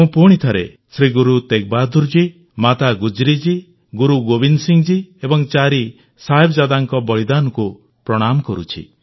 ମୁଁ ପୁଣିଥରେ ଶ୍ରୀ ଗୁରୁ ତେଗବାହାଦୂର ଜୀ ମାତା ଗୁଜ୍ରି ଜୀ ଗୁରୁ ଗୋବିନ୍ଦ ସିଂ ଜୀ ଏବଂ ଚାରି ସାହିବଜାଦାଙ୍କ ବଳିଦାନକୁ ପ୍ରଣାମ କରୁଛି